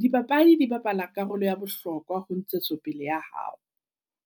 Dipapadi di bapala karolo ya bohlokwa ho ntshetsopele ya hao.